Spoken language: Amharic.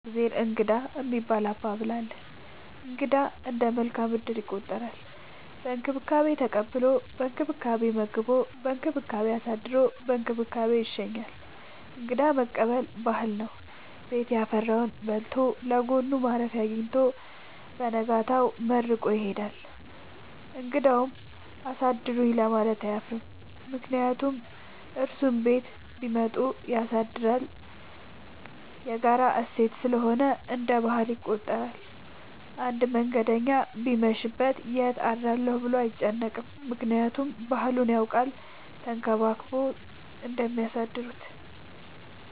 የእግዜር እንግዳ የሚባል አባባል አለ። እንግዳ እንደ መልካም እድል ይቆጠራል። በእንክብካቤ ተቀብሎ በእንክብካቤ መግቦ በእንክብካቤ አሳድሮ በእንክብካቤ ይሸኛል። እንግዳ መቀበል ባህል ነው። ቤት ያፈራውን በልቶ ለጎኑ ማረፊያ አጊኝቶ በነጋታው መርቆ ይሄዳል። እንግዳውም አሳድሩኝ ለማለት አያፍርም ምክንያቱም እሱም ቤት ቢመጡ ያሳድራል። የጋራ እሴት ስለሆነ እንደ ባህል ይቆጠራል። አንድ መንገደኛ ቢመሽ ይት አድራለሁ ብሎ አይጨነቅም። ምክንያቱም ባህሉን ያውቃል ተንከባክበው እንደሚያሳድሩት።